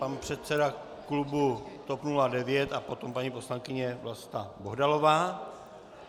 Pan předseda klubu TOP 09 a potom paní poslankyně Vlasta Bohdalová.